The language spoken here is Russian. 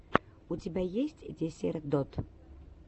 у тебя есть десертод